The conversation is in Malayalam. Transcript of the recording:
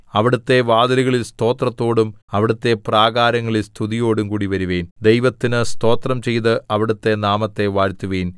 അവിടുത്തെ വാതിലുകളിൽ സ്തോത്രത്തോടും അവിടുത്തെ പ്രാകാരങ്ങളിൽ സ്തുതിയോടും കൂടിവരുവിൻ ദൈവത്തിന് സ്തോത്രം ചെയ്ത് അവിടുത്തെ നാമത്തെ വാഴ്ത്തുവിൻ